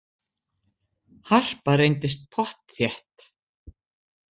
Harpa reyndist pottþétt